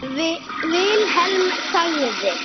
Vilhelm þagði.